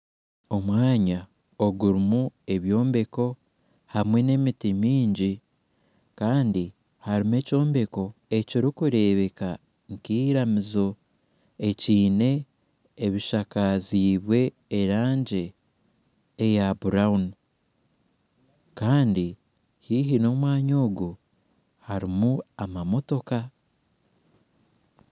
Omwanya ogurumu ebyombeko hamwe n'emiti myingi Kandi harumu ekyombeko ekirukurebeka nk'iramizo ekyine ebishakazibwe erangi eya burawuni Kandi haihi n'omwanya ogu harumu amamotoka .